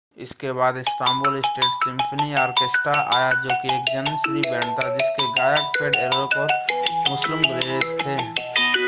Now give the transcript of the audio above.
इसके बाद Istanbul state symphony orchestra आया जो कि एक जनिसरी बैंड था जिसके गायक फेथ एरकोक और मुस्लुम गुरसेस थे